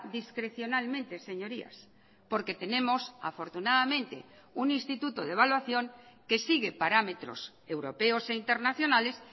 discrecionalmente señorías porque tenemos afortunadamente un instituto de evaluación que sigue parámetros europeos e internacionales